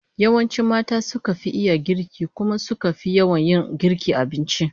Yawanci mata suka fi iya girki, kuma suka fi yawan yin girkin abinci